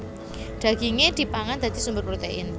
Dagingé dipangan dadi sumber protein